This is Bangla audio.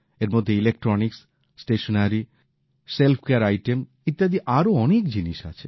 এর মধ্যে electronics stationery self care item ইত্যাদি আরও অনেক জিনিস আছে